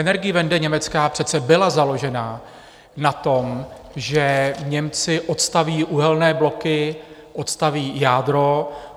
Energiewende německá přece byla založena na tom, že Němci odstaví uhelné bloky, odstaví jádro.